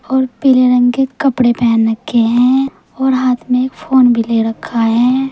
और पीले रंग के कपड़े पहन रखे है और हाथ में एक फोन भी ले रक्खा है।